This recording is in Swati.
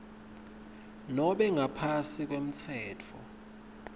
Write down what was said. nobe ngaphansi kwemtsetfo